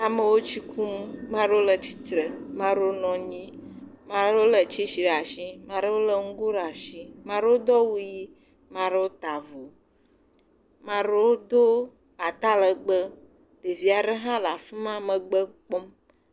Amewo tsi kum ame aɖewo le titre ame aɖewo nɔ anyi ame aɖewo le tsesi ɖe asi ame aɖewo le ŋgo ɖe asi ame aɖewo do awu ɣi ame aɖewo ta avɔ ame aɖewo do atalegbe ɖevi aɖe ha le afima megbe kpɔm